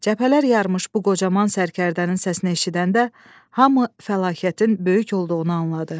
Cəbhələr yarmış bu qocaman sərkərdənin səsini eşidəndə hamı fəlakətin böyük olduğunu anladı.